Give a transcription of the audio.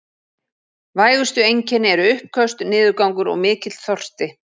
Vægustu einkenni eru uppköst, niðurgangur og mikill þorsti.